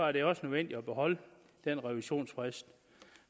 er det også nødvendigt at beholde den revisionsfrist